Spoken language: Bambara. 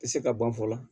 Tɛ se ka ban fɔlɔ